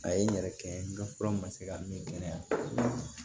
A ye n yɛrɛ kɛ n ye n ka fura ma se ka min kɛnɛya